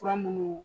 Fura minnu